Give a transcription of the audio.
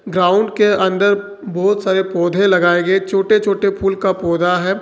Ground के अंदर बहुत सारे पौधे लगाए गए छोटे छोटे फूल का पौधा है।